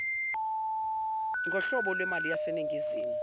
nghlobo lwemali yaseningizimu